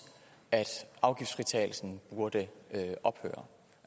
at afgiftsfritagelsen burde ophøre